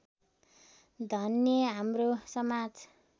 धन्य हाम्रो समाज